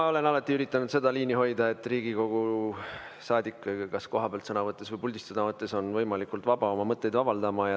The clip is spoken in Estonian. Ma olen alati üritanud seda liini hoida, et Riigikogu saadik kas kohapealt sõna võttes või puldis sõna võttes on võimalikult vaba oma mõtteid avaldama.